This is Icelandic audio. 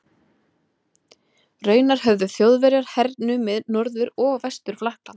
Raunar höfðu Þjóðverjar hernumið Norður- og Vestur-Frakkland.